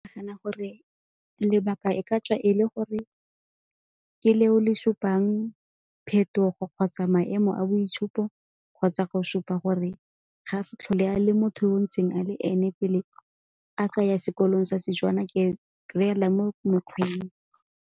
Ke nagana gore lebaka e ka tswa e le gore ke leo le supang phetogo kgotsa maemo a boitshupo kgotsa go supa gore ga se tlhole a le motho yo ntseng a le ene pele aka ya sekolong sa Setswana ke reyela mo mekgweng.